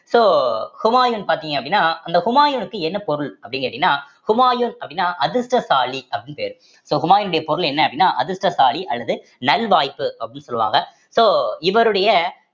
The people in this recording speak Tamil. so ஹுமாயூன் பார்த்தீங்க அப்படின்னா அந்த ஹுமாயூனுக்கு என்ன பொருள் அப்படின்னு கேட்டீங்கன்னா ஹுமாயூன் அப்படின்னா அதிர்ஷ்டசாலி அப்படின்னு பேரு so ஹுமாயினுடைய பொருள் என்ன அப்படின்னா அதிர்ஷ்டசாலி அல்லது நல் வாய்ப்பு அப்படின்னு சொல்லுவாங்க சொல்லுவாங்க so இவருடைய